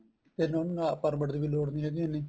ਫੇਰ ਉਹਨੂੰ ਨਾ permit ਦੀ ਵੀ ਲੋੜ ਨੀ ਹੈਗੀ ਇੰਨੀ